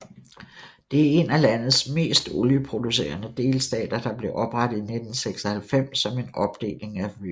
Det er en af landets mest olieproducerende delstater der blev oprettet i 1996 som en opdeling af Rivers